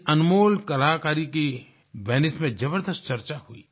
इस अनमोल कलाकारी की वेनाइस में जबरदस्त चर्चा हुई